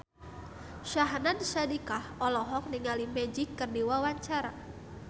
Syahnaz Sadiqah olohok ningali Magic keur diwawancara